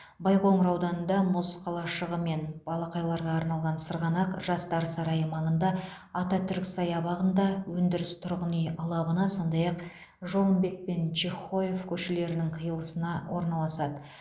байқоңыр ауданында мұз қалашығы мен балақайларға арналған сырғанақ жастар сарайы маңында ататүрік саябағында өндіріс тұрғын үй алабына сондай ақ жолымбет пен чехоев көшелерінің қиылысына орналасады